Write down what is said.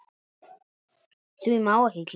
Því má ekki gleyma.